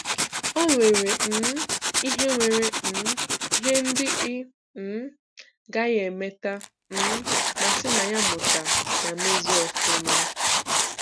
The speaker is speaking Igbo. O nwere um ihe nwere um ihe ndị ị um gaghị emete um ma si na ya mụta ma mezie ọfụma.